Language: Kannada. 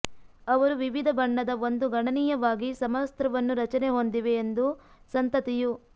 ಅವರು ವಿವಿಧ ಬಣ್ಣದ ಒಂದು ಗಣನೀಯವಾಗಿ ಸಮವಸ್ತ್ರವನ್ನು ರಚನೆ ಹೊಂದಿವೆ ಎಂದು ಸಂತತಿಯು